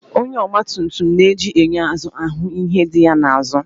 Onye ọgba tum tum na-eji enyo azụ ahụ ihe di ya n'azụ